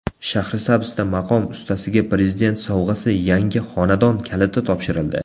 Shahrisabzda maqom ustasiga Prezident sovg‘asi yangi xonadon kaliti topshirildi.